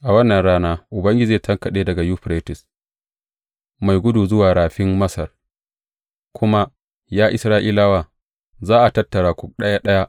A wannan rana Ubangiji zai tankaɗe daga Yuferites mai gudu zuwa Rafin Masar, ku kuma, ya Isra’ilawa, za a tattara ku ɗaya ɗaya.